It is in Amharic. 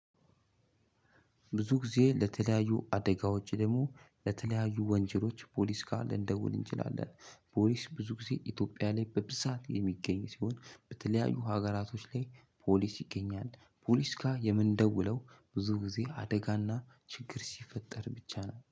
ብዙ ጊዜ ለተለያዩ አደጋዎች ደግሞ ለተለያዩ ወንጀሎች ፖሊስ ጋር ልንደውል እንችላለን። ፖሊስ ብዙ ጊዜ ኢትዮጵያ ላይ በብዛት የሚገኝ ሲሆን። በተለያዩ ሀገራቶች ላይ ፖሊስ ይገኛል። ፖሊስ ጋር የምንደውለው ብዙ ጊዜ አደጋና ችግር ሲፈጠር ብቻ ነው።